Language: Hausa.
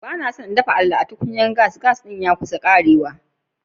Ba na so n dafa alele da tukunyan gas. Gas din ya kusan karewa.